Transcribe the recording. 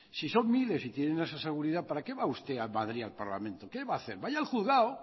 si son miles y tienen esa seguridad para qué va usted a madrid al parlamento qué va a hacer vaya al juzgado